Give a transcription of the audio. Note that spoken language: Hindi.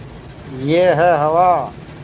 यह है हवा